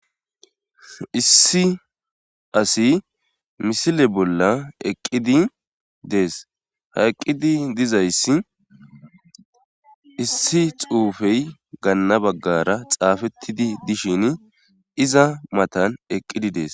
Issi asi misile bolla eqqidi dees haqqidi dizayssi issi xuufey ganna baggara xaafettidi dishin iza matan eqqidi dees